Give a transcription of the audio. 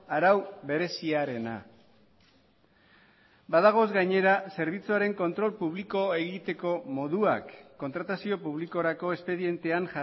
arau bereziarena badagoz gainera zerbitzuaren kontrol publikoa egiteko moduak kontratazio publikorako espedientean